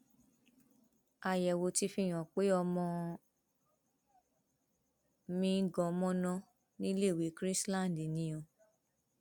àyẹwò ti fihàn pé ọmọ mi gan mọnà níléèwé chrisland ni o